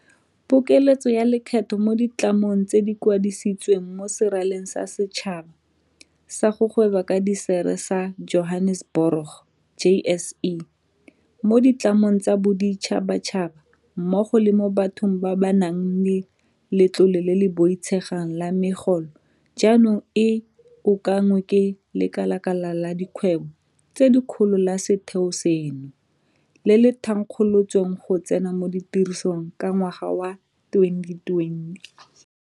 Pokeletso ya lekgetho mo ditlamong tse di kwadisitsweng mo Seraleng sa Setšhaba sa go Gweba ka Dišere sa Johaneseborogo JSE, mo ditlamong tsa boditšhabatšhaba mmogo le mo bathong ba ba nang le letlole le le boitshegang la megolo jaanong e okanngwe ke Lekala la Dikgwebo tse Dikgolo la setheo seno, le le thankgolotsweng go tsena mo tirisong ka ngwaga wa 2020.